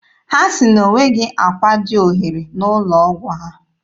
Ha sị na o nweghị akwa dị ohere n'ụlọ ọgwụ ha.